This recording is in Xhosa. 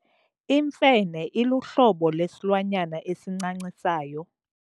Imfene iluhlobo lwesilwanyana esincancisayo.